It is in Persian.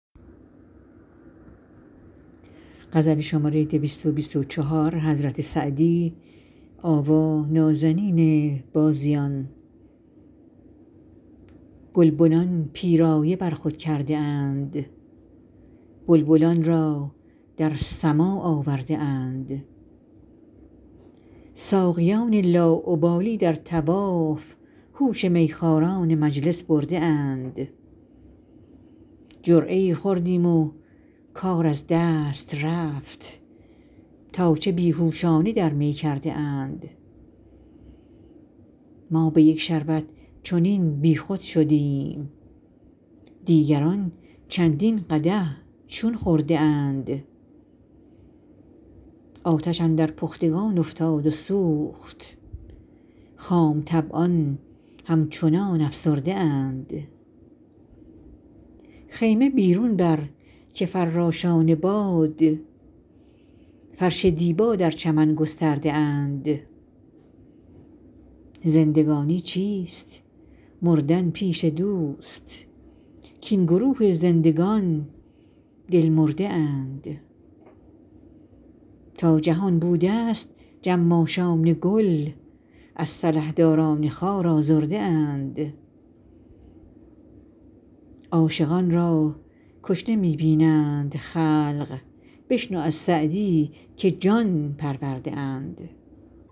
گلبنان پیرایه بر خود کرده اند بلبلان را در سماع آورده اند ساقیان لاابالی در طواف هوش میخواران مجلس برده اند جرعه ای خوردیم و کار از دست رفت تا چه بی هوشانه در می کرده اند ما به یک شربت چنین بیخود شدیم دیگران چندین قدح چون خورده اند آتش اندر پختگان افتاد و سوخت خام طبعان همچنان افسرده اند خیمه بیرون بر که فراشان باد فرش دیبا در چمن گسترده اند زندگانی چیست مردن پیش دوست کاین گروه زندگان دل مرده اند تا جهان بودست جماشان گل از سلحداران خار آزرده اند عاشقان را کشته می بینند خلق بشنو از سعدی که جان پرورده اند